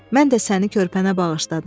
Mən də səni körpənə bağışladım.